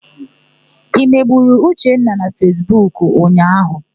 I megburu Uchenna na Fesbuku ụnyaahụ?